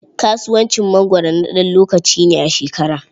Kasuwacin mangwaro na ɗan lokaci ne a shekara.